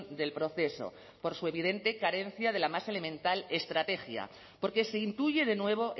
del proceso por su evidente carencia de la más elemental estrategia porque se intuye de nuevo